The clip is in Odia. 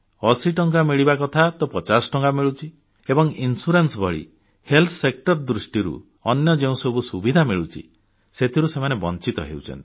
80 ଟଙ୍କା ମିଳିବା କଥା ତ 50 ଟଙ୍କା ମିଳୁଛି ଏବଂ ବୀମା ଭଳି ହେଲ୍ଥ ସେକ୍ଟର ଦୃଷ୍ଟିରୁ ଅନ୍ୟ ଯେଉଁସବୁ ସୁବିଧା ମିଳୁଛି ସେଥିରୁ ସେମାନେ ବଂଚିତ ହେଉଛନ୍ତି